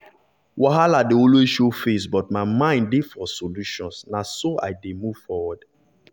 wahala dey always show face but my mind dey for solutions na so i dey move forward.